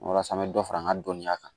Walasa an bɛ dɔ fara an ka dɔnniya kan